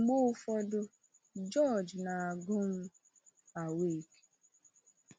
Mgbe ụfọdụ, George na-agụ m Awake!